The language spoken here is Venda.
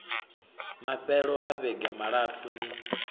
mafhelo a vhege malapfu ni